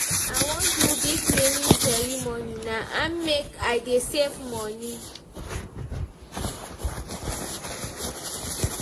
I wan do big naming ceremony na im make I dey save moni.